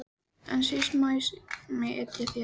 En síst mátti ég etja þér.